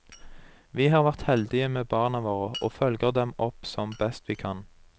Vi har vært heldige med barna våre, og følger dem opp som best vi kan.